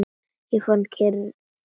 Ég fann kyrrð.